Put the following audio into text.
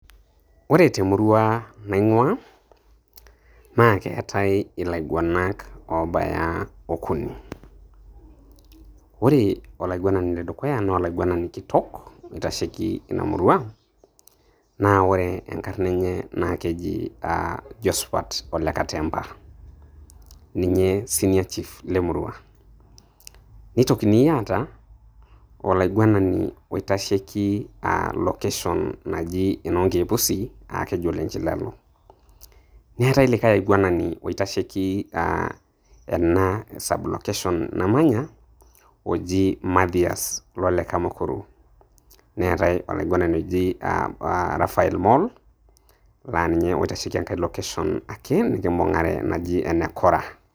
Ore te murua naing'ua, naa keetai ilaigwenak obaya okuni. Ore olaigwenani le dukuya naa olaigwenani kitok oitasheki ina murua, naa keji enkarna enye naa keji Josphat Ole Katemba, ninye senior chief le murua. Nietokini aata olaigwenani oitasheki location naji e Noonkeek Pusi, keji Ole Nchilalo. Netai likai aigwenani oitasheki ena sublocation namanya oji Matias lole Kamakoro, netai olaigwenani oji Raphael Moll, laa ninye oitasheki engai location ake nekimbung'are naji ene Kora.